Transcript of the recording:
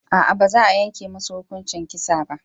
A'a baza yanke musu hukuncin kisa ba